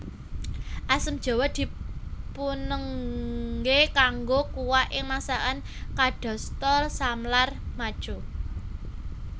Asam jawa dipunengge kangge kuah ing masakan kadasta samlar machu